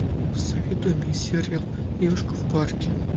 посоветуй мне сериал девушка в парке